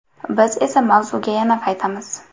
Biz esa mavzuga yana qaytamiz.